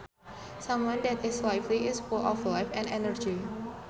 Someone that is lively is full of life and energy